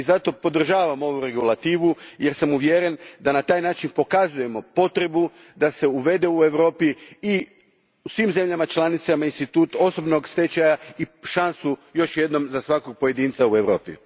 I zato podržavam ovu regulativu jer sam uvjeren da na taj način pokazujemo potrebu da se u Europi i svim državama članicama uvede institut osobnog stečaja i šansa za svakog pojedinca u Europi.